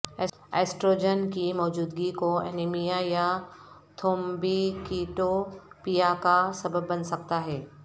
oestrogen کی موجودگی کو انیمیا یا تھومبیکیٹوپییا کا سبب بن سکتا ہے